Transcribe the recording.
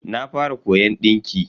Na fara koyon dinki.